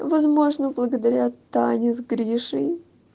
возможно благодаря тане с гришей